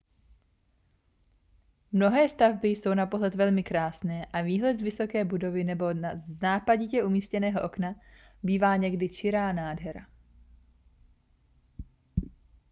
mnohé stavby jsou na pohled velmi krásné a výhled z vysoké budovy nebo z nápaditě umístěného okna bývá někdy čirá nádhera